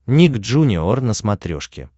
ник джуниор на смотрешке